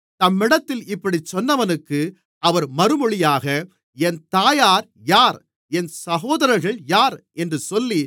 தம்மிடத்தில் இப்படிச் சொன்னவனுக்கு அவர் மறுமொழியாக என் தாயார் யார் என் சகோதரர்கள் யார் என்று சொல்லி